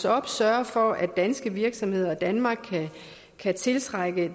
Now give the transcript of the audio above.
op sørge for at danske virksomheder og danmark kan tiltrække